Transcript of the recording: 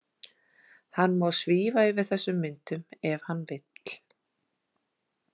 Hann má svífa yfir þessum myndum ef hann vill.